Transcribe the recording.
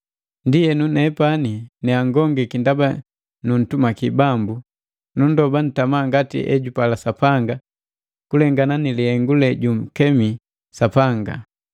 Ndienu nepani ne angongiki ndaba nuntumaki Bambu, nundoba ntama ngati ejupala Sapanga kulengana ni lihengu lejunkemi Sapanga.